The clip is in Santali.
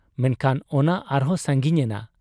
ᱢᱮᱱᱠᱷᱟᱱ ᱚᱱᱟ ᱟᱨᱦᱚᱸ ᱥᱟᱺᱜᱤᱧ ᱮᱱᱟ ᱾